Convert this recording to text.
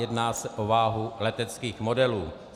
Jedná se o váhu leteckých modelů.